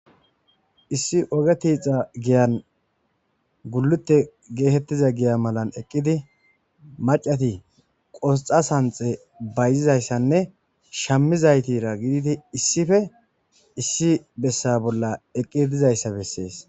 Issi oge tiixa giyan gulute geetettiza giya malan eqqidi macati qosxa sanxe bayzizayssanne shammizaytira gididi issife issi bessa bolla eqqi dizayssa bessees.